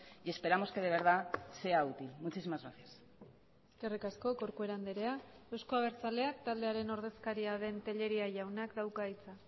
y esperamos que de verdad sea útil muchísimas gracias eskerrik asko corcuera andrea euzko abertzaleak taldearen ordezkaria den tellería jaunak dauka hitza